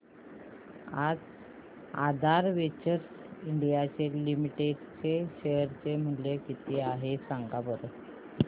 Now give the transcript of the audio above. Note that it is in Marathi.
आज आधार वेंचर्स इंडिया लिमिटेड चे शेअर चे मूल्य किती आहे सांगा बरं